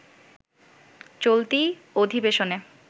চলতি অধিবেশনে